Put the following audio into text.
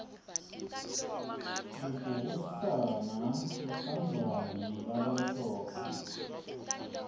kubhukusna kutsandvwa nqulabamhlophe